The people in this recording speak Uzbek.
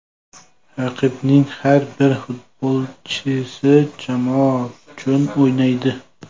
Raqibning har bir futbolchisi jamoa uchun o‘ynaydi.